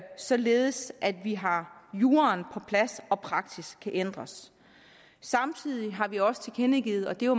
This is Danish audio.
således at vi har juraen på plads og praksis kan ændres samtidig har vi også tilkendegivet og det er